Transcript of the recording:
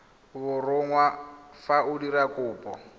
borongwa fa o dira kopo